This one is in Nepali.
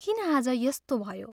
किन आज यस्तो भयो?